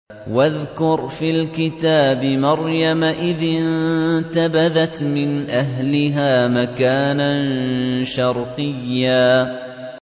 وَاذْكُرْ فِي الْكِتَابِ مَرْيَمَ إِذِ انتَبَذَتْ مِنْ أَهْلِهَا مَكَانًا شَرْقِيًّا